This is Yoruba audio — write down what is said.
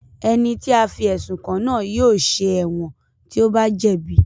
Ẹni tí a fí ẹ̀sùn kàn náà yóò ṣẹ̀ wọ̀n tí ó bá jẹ̀bi